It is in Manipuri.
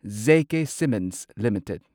J K cements limited